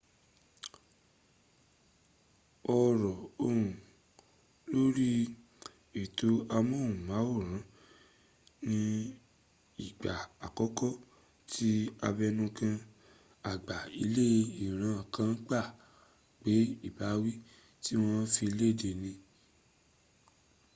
ọ̀rọ̀ ọ̀hún lórí ètò amóhùnmáwòrán ni ìgbà àkọ́kọ́ tí abẹnugan àgbà ilẹ̀ iran kan gbà pé ìbáwí tí wọn fi léde ní ip